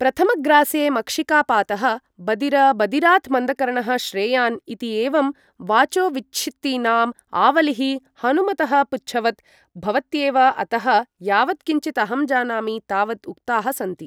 प्रथमग्रासे मक्षिकापातः बदीर बदिरात् मन्दकर्णः श्रेयान् इति एवं वाचोविच्छित्तीनाम् आवलिः हनुमतः पुच्छवत् भवत्येव अतः यावत् किञ्चित् अहं जानामि तावत् उक्ताः सन्ति ।